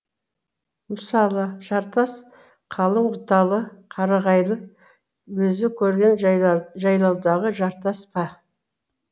мысалы жартас қалың бұталы қарағайлы өзі көрген жайлаудағы жартас па